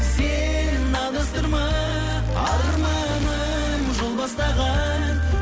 сен адастырма арманым жол бастаған